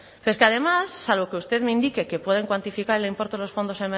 es que además salvo que usted me indique que pueden cuantificar el importe de los fondos